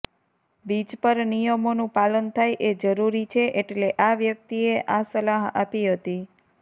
beach પર નિયમોનું પાલન થાય એ જરૂરી છે એટલે આ વ્યક્તિએ આ સલાહ આપી હતી